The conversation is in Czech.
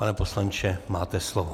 Pane poslanče, máte slovo.